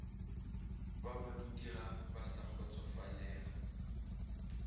ba badudiga ba sa kgotsofalela